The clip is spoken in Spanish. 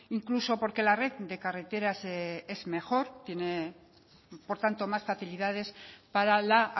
incluso porque la red de carreteras es mejor tiene por tanto más facilidades para la